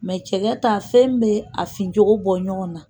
cɛgɛ ta, fɛn bɛ a fin cogo bɔ ɲɔgɔn na